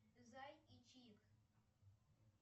зай и чик